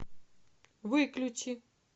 выключи